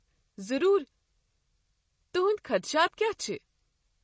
ضروٗر، تہٕنٛدۍ خدشات کیٛاہ چھِ؟